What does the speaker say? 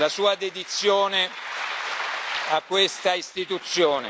la sua dedizione a questa Istituzione.